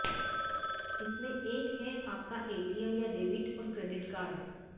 इनमें एक है आपका एटीएम या डेबिट और क्रेडिट कार्ड